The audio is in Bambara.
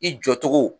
I jɔ cogo